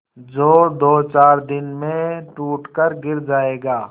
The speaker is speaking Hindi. जो दोचार दिन में टूट कर गिर जाएगा